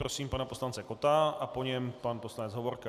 Prosím pana poslance Kotta a po něm pan poslanec Hovorka.